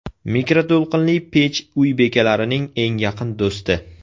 Mikroto‘lqinli pech uy bekalarining eng yaqin do‘sti.